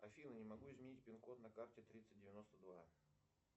афина не могу изменить пин код на карте тридцать девяносто два